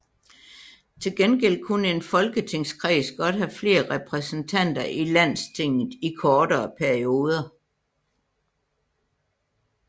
Til gengæld kunne en folketingskreds godt have flere repræsentanter i Landstinget i kortere perioder